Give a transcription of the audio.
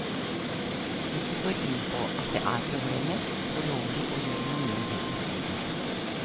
Hvis de går inn på at det er problemer, så lover de å gjøre noe med det omgående.